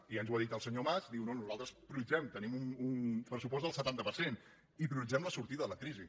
i ja ens ho ha dit el senyor mas diu no nosaltres tenim un pressupost del setanta per cent i prioritzem la sortida de la crisi